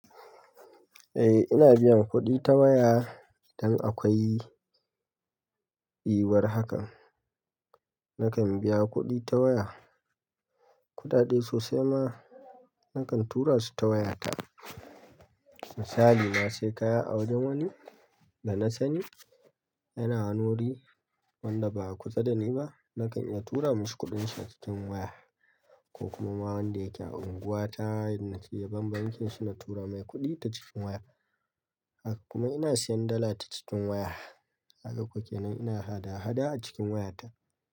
Eh ina biyan kuɗi ta waya idan akwai yiwar hakan nakan biya kuɗi ta waya. Kuɗaɗe sosai ma nakan tura su ta wayata. Misali na sayi kaya a wajen wani da na sani yana wani wuri wanda ba a kusa da ni ba nakan iya tura mishi kuɗin shi a cikin waya ko kuma wanda yake a unguwata idan nace yaban bankinshi na tura mai kuɗi ta cikin waya. Haka kuma ina siyan dala ta cikin waya kaga kuwa kenan ina hada-hada a cikin wayata.